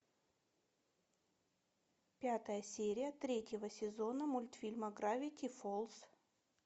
пятая серия третьего сезона мультфильма гравити фолз